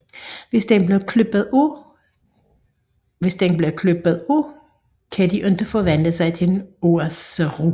Hvis den bliver klippet af kan de ikke forvandle sig til en Oozaru